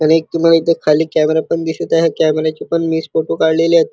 आणि एक तुम्हाला इथं खाली कॅमेरा पण दिसत आहे. कॅमेऱ्या चे पण मीच फोटो काढलेलेत.